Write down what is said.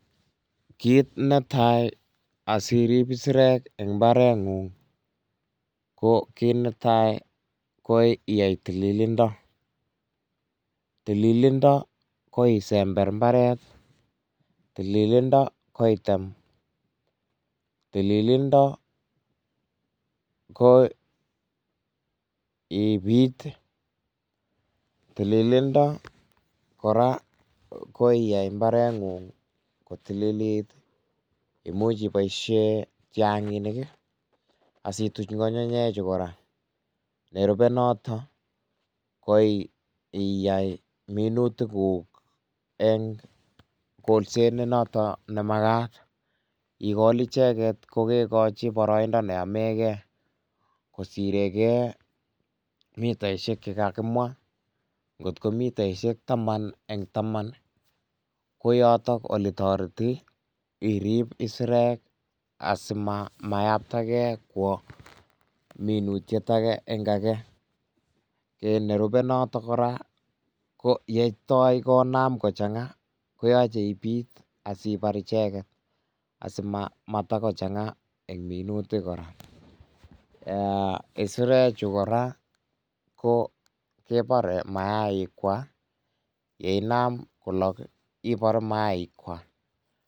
Kit netai asirib isirek eng mbaret ngung, ko kit netai ko iyai tililindo, tililindo ko isember imbaret, tililindo ko item, tililindo ko ibit ii, tililindo kora ko iyay imbarengung kotililit, imuch iboisyen kyanginik ii asituch ngungunyiek chu kora, nerube notok ko iyay minutik kuk eng kolset ne notok nemakat, ikol icheket ko kekochi boroindo ne omeke kosireke mitaisiek che kakimwa ngotko mitaisiek taman eng taman ko yotok ole toreti irib isirek asimayatake kwo minutiet ake eng ake, kit nerube kora ko yetoi konam kochanga koyoche ibit asibar ichet asimatakochanga eng minutik kora, isirechu kora ko kebore mayaik Kwak ye inam kolok ibar mayaik Kwak.